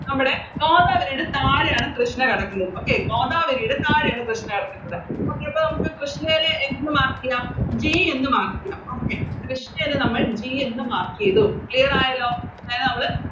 നമ്മടെ ഗോദാവരിയുടെ താഴെയാണ് കൃഷ്ണ കിടക്കുന്നത് Okay ഗോദാവരിയുടെ താഴെയാണ് കൃഷ്ണ കെടക്കുന്നത് Okay അപ്പൊ കൃഷ്ണേല് എന്ത് Mark ചെയ്യാം G എന്ന് Mark ചെയ്യാം കൃഷ്ണേനെ നമ്മള് G എന്ന് Mark ചെയ്തു Clear ആയല്ലോ